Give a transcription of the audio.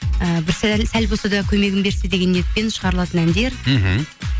і бір сәл болса да көмегін берсе деген ниетпен шығарылатын әндер мхм